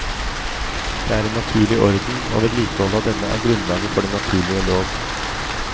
Det er en naturlig orden, og vedlikeholdet av denne er grunnlaget for den naturlige lov.